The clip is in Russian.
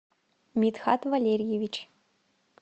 митхат валерьевич